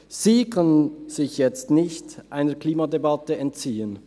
Sie kann sich jetzt nicht einer Klimadebatte entziehen.